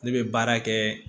Ne bɛ baara kɛ